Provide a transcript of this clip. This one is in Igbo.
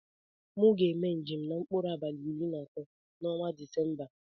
Mu ga eme njem na mkpụrụ abali iri na atọ na ọnwa disemba.